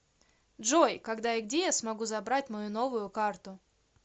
джой когда и где я смогу забрать мою новую карту